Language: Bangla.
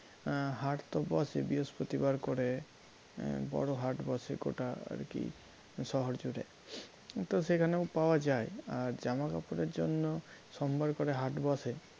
এ হাট তো বসে বৃহস্পতি বার করে বড় হাট বসে গোটা আর কি শহর জুড়ে তো সেখানেও পাওয়া যায় আর জামাকাপড়ের জন্য সোমবার করে হাট বসে